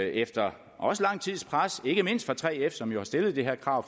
efter lang tids pres ikke mindst fra 3f som jo har stillet det her krav